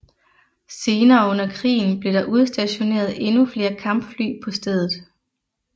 Senere under krigen blev der udstationeret endnu flere kampfly på stedet